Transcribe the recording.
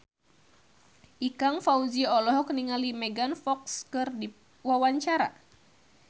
Ikang Fawzi olohok ningali Megan Fox keur diwawancara